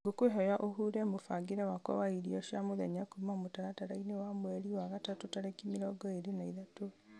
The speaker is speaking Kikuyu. ngũkwĩhoya ũhure mũbangĩre wakwa wa irio cia mũthenya kuma mũtaratara-inĩ wa mweri wa gatatũ tarĩki mĩrongo ĩĩrĩ na ithatũ